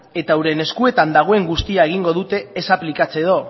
eta euren eskuetan dagoen guztia egingo dute ez aplikatzeko